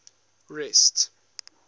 rest